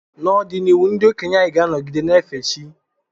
N’ọdịnihu, ndị okenye anyị ga-anọgide na-efe chi.